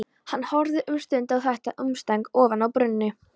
Hann horfði um stund á þetta umstang ofan af brúnni.